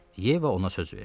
Yeva ona söz verdi.